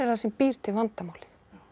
sem býr til vandamálið